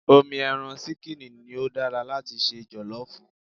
Omi ẹran ṣíkìnì ni ó dára láti se jọ̀lọ́ọ̀fù